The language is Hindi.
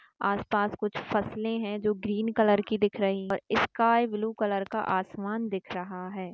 आस-पास कुछ फसले है जो ग्रीन कलर की दिख रही है और स्काई ब्लू कलर का आसमान दिख रहा है।